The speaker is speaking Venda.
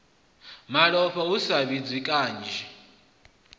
malofha hu sa fhidzi kanzhi